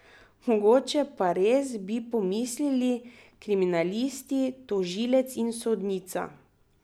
Mogoče pa res, bi pomislili kriminalisti, tožilec in sodnica.